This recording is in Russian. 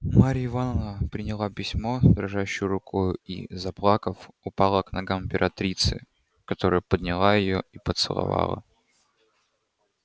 марья ивановна приняла письмо дрожащею рукою и заплакав упала к ногам императрицы которая подняла её и поцеловала